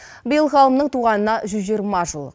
биыл ғалымның туғанына жүз жиырма жыл